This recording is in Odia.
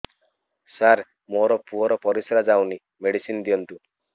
ସାର ମୋର ପୁଅର ପରିସ୍ରା ଯାଉନି ମେଡିସିନ ଦିଅନ୍ତୁ